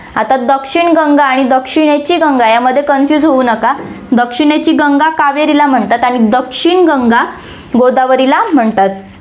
आता दक्षिण गंगा आणि दक्षिणेची गंगा यामध्ये confuse होऊ नका. दक्षिणेची गंगा कावेरीला म्हणतात आणि दक्षिण गंगा गोदावरीला म्हणतात.